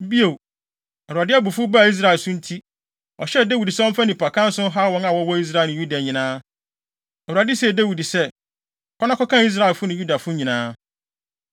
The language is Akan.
Bio, Awurade abufuw baa Israel so nti, ɔhyɛɛ Dawid sɛ ɔmfa nnipakan so nhaw wɔn a wɔwɔ Israel ne Yuda nyinaa. Awurade see Dawid sɛ, “Kɔ na kɔkan Israelfo ne Yudafo nyinaa.”